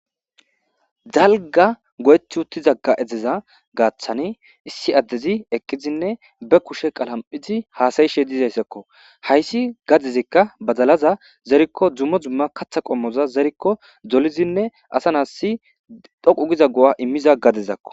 Dalga go7ethi utti zagga edeza gaaththani issi addezi ekkizinne be kushe qalam7izi haasayishe dizayssakko hayssi gadizikka bazalaza zerikko dzummo zumma katha qommoza zerikko dolizinne asa naasi dhoqu giza go7a immiza gadizakko.